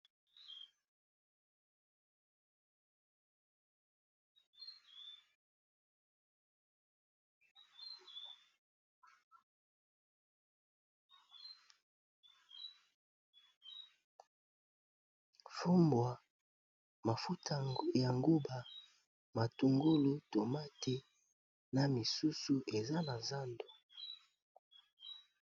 Fumbwa, mafuta ya nguba, matungolu, tomate na misusu eza na zando .